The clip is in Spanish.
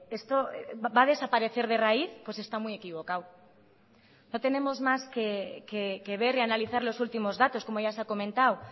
esto va a desaparecer de raíz pues está muy equivocado no tenemos más que ver y analizar los últimos datos como ya se ha comentado